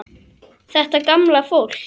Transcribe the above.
Þetta gamla fólk.